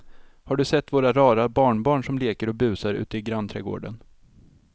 Har du sett våra rara barnbarn som leker och busar ute i grannträdgården!